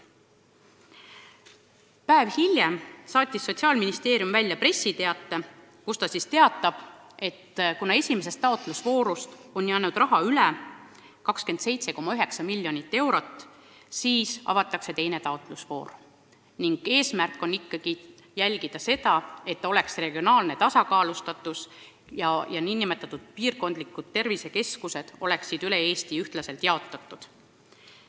Päev hiljem saatis Sotsiaalministeerium välja pressiteate, et kuna esimesest taotlusvoorust on 27,9 miljonit eurot üle jäänud, siis avatakse teine taotlusvoor, ja et eesmärk on ikkagi jälgida, et oleks regionaalne tasakaalustatus ja et piirkondlikud tervisekeskused oleksid üle Eesti ühtlaselt jaotatud.